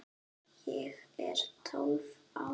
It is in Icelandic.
Ég er tólf ára.